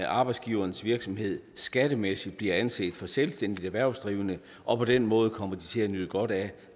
arbejdsgiverens virksomhed skattemæssigt bliver anset for selvstændigt erhvervsdrivende og på den måde kommer de til at nyde godt af